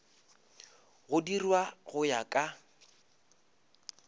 go dirwa go ya ka